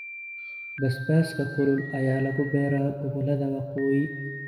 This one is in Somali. Basbaaska kulul ayaa lagu beeraa gobollada Waqooyi.